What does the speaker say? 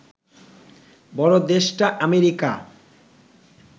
বড় দেশটা আমেরিকা